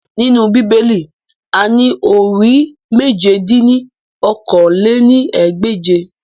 Nínú Bíbélì, a ní orí Mèje dín ní okòó-lé-ní-ẹgbẹ́je